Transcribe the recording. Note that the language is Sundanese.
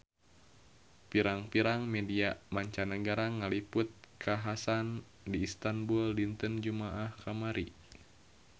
Pirang-pirang media mancanagara ngaliput kakhasan di Istanbul dinten Jumaah kamari